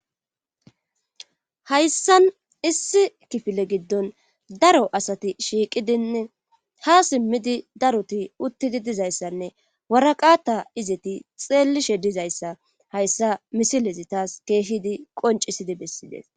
Hayssan issi kifile giddon daro asati shiiqidinne haa simmidi daro asati uttidi dizayssinne waraqta eeti xaafishe dizayssa hayssan misilezi tas keehidi qonccisidi bessides